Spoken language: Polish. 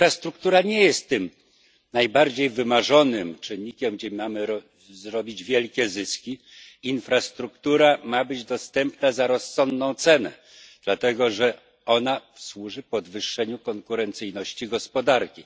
Infrastruktura nie jest tym najbardziej wymarzonym czynnikiem przynoszącym wielkie zyski, infrastruktura ma być dostępna za rozsądną cenę, gdyż służy ona podwyższeniu konkurencyjności gospodarki.